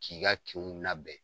K'i ka kinw nabɛn